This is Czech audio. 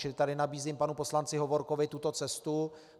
Čili tady nabízím panu poslanci Hovorkovi tuto cestu.